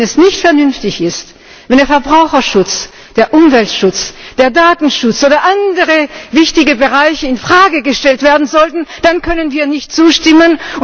Wenn es nicht vernünftig ist, wenn der Verbraucherschutz, der Umweltschutz, der Datenschutz oder andere wichtige Bereiche in Frage gestellt werden sollten, dann können wir nicht zustimmen.